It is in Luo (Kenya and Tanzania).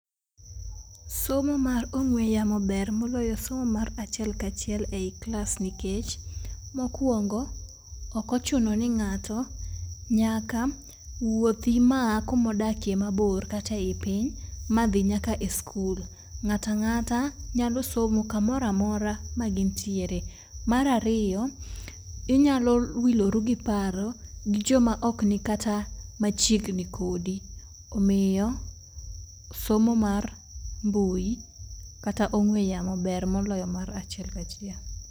Somo mar ong'we yamo ber moloyo somo mar achiel kachiel ei iklas nikech mokwongo, ok ochuno ni nyaka wuoth kuma odake mabor kate i piny madhi nyaka e skul, ngata ngata nyalo somo kamoramora ma gintiere. Mar ariyo inyalo wiloru gi paro gi joma ok ni kata machiegni kodi, omiyo somo mar mbui kata ong'we yamo ber moloyo mar achiel kachiel.